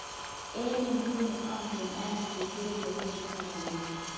" Eng iguni onge kany keker elebedito nga'lek.